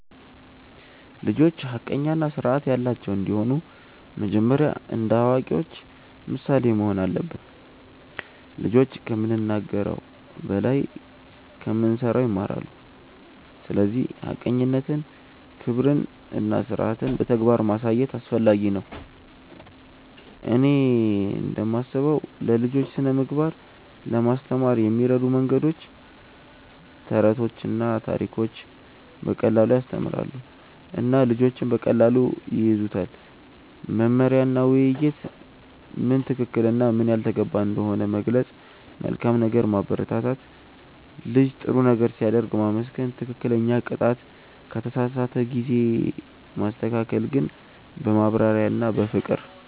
ልጆች ሐቀኛ እና ስርዓት ያላቸው እንዲሆኑ መጀመሪያ እኛ እንደ አዋቂዎች ምሳሌ መሆን አለብን። ልጆች ከምንናገር በላይ ከምንሠራ ይማራሉ፤ ስለዚህ ሐቀኝነትን፣ ክብርን እና ስርዓትን በተግባር ማሳየት አስፈላጊ ነው። እኔ እንደምስበው ለልጆች ስነ ምግባር ለማስተማር የሚረዱ መንገዶች፦ ተረቶችና ታሪኮች –> በቀላሉ ያስተምራሉ እና ልጆች በቀላሉ ይያዙታል። መመሪያ እና ውይይት –> ምን ትክክል እና ምን ያልተገባ እንደሆነ መግለጽ። መልካም ነገር ማበረታት –> ልጅ ጥሩ ነገር ሲያደርግ ማመስገን። ትክክለኛ ቅጣት –> ከተሳሳተ ጊዜ ማስተካከል ግን በማብራሪያ እና በፍቅር።